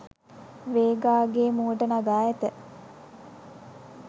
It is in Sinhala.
වේගාගේ මුවට නගා ඇත